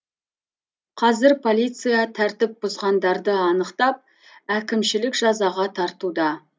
қазір полиция тәртіп бұзғандарды анықтап әкімшілік жазаға тартуда